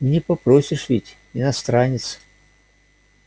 и не попросишь ведь иностранец